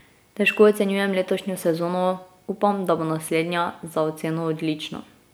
Težko ocenjujem letošnjo sezono, upam, da bo naslednja za oceno odlično.